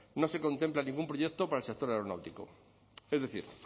no se contempla ningún proyecto para el sector aeronáutico es decir